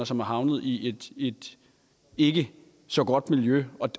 som er havnet i et i et ikke så godt miljø